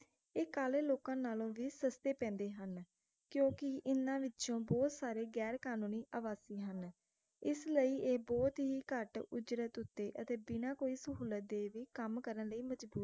ਇਹ ਕਾਲੇ ਲੋਕਾਂ ਨਾਲੋਂ ਵੀ ਸਸਤੇ ਪੈਂਦੇ ਹਨ ਕਿਉਂਕਿ ਇਨ੍ਹਾਂ ਵਿਚੋਂ ਬਹੁਤ ਸਾਰੇ ਗ਼ੈਰ-ਕਾਨੂੰਨੀ ਆਵਾਸੀ ਹਨ ਇਸ ਲਯੀ ਇਹ ਬਹੁਤ ਹੀ ਘੱਟ ਉਜਰਤ ਉਤੇ ਅਤੇ ਬਿਨਾ ਕੋਈ ਸਹੂਲਤ ਦੇ ਵੀ ਕੰਮ ਕਰਨ ਲਯੀ ਮਜਬੂਰ